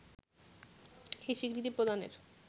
এ স্বীকৃতি প্রদানের